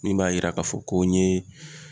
Min b'a yira ka fɔ ko n ye